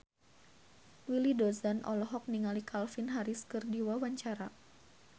Willy Dozan olohok ningali Calvin Harris keur diwawancara